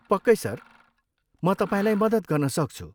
पक्कै सर, म तपाईँलाई मद्दत गर्न सक्छु।